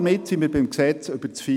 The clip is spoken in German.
Damit sind wir beim FILAG.